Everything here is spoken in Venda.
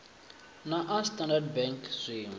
na a standard bank zwinwe